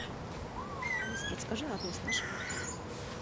алиса подскажи адрес нашего отеля